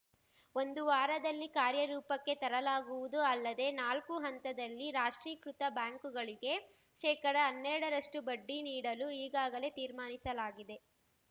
ಒಂದು ವಾರದಲ್ಲಿ ಕಾರ್ಯರೂಪಕ್ಕೆ ತರಲಾಗುವುದು ಅಲ್ಲದೇ ನಾಲ್ಕು ಹಂತದಲ್ಲಿ ರಾಷ್ಟ್ರೀಕೃತ ಬ್ಯಾಂಕುಗಳಿಗೆ ಶೇಕಡಹನ್ನೆರಡರಷ್ಟುಬಡ್ಡಿ ನೀಡಲು ಈಗಾಗಲೇ ತೀರ್ಮಾನಿಸಲಾಗಿದೆ